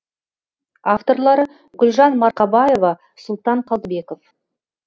авторлары гүлжан марқабаева сұлтан қалдыбеков